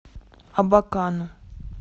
абакану